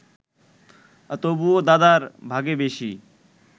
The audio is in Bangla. তবুও দাদার ভাগে বেশি